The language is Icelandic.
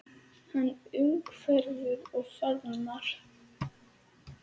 Hann umvefur og faðmar.